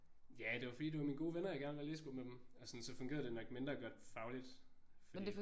Ja det var fordi det var mine gode venner jeg gerne ville være i læsegruppe med dem. Altså sådan så fungerede det nok mindre godt fagligt fordi